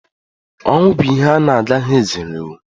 Ọnwụ bụ ihe a na-agaghị ezerenwu.